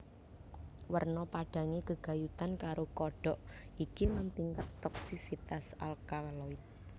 Werna padhange gegayutan karo kodhok iki lan tingkat toksisitas alkaloid